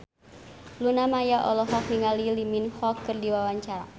Luna Maya olohok ningali Lee Min Ho keur diwawancara